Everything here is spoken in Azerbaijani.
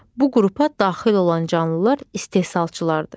Bu qrupa daxil olan canlılar istehsalçılardır.